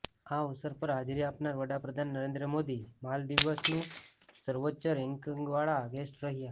આ અવસર પર હાજરી આપનાર વડાપ્રધાન નરેન્દ્ર મોદી માલદીવ્સના સર્વોચ્ચ રેન્કિન્ગવાળા ગેસ્ટ રહ્યા